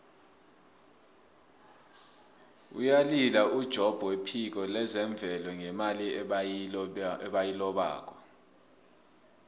uyalila ujobb wephiko lezemvelo ngemali ebayilobako